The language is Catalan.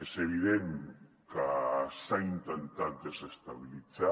és evident que s’ha intentat desestabilitzar